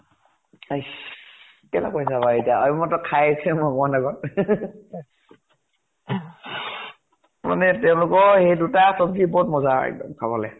Ice কেনেকৈ যাবা এতিয়া আৰু মই মানে তেওঁলোকৰ সেই দুটা চব্জি বহুত মজা এক্দম খাবলে।